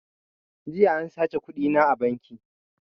Jiya an saci kuɗina a banki